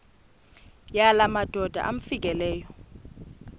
yala madoda amfikeleyo